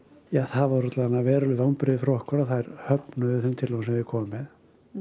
það voru alla vega veruleg vonbrigði fyrir okkur að þær höfnuðu þeim tillögum sem við komum með